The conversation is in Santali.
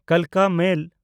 ᱠᱟᱞᱠᱟ ᱢᱮᱞ